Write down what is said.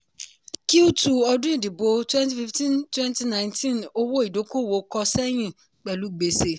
cs] q two ọdún ìdìbò twenty fifteen twenty nineteen owó ìdókòwò kọ sẹ́yìn pẹ̀lú gbèsè.